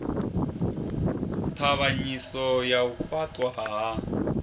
ṱhavhanyiso ya u fhaṱwa ha